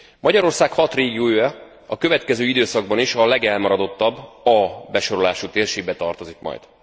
Magyarország hat régiója a következő időszakban is a legelmaradottabb, A besorolású térségbe tartozik majd.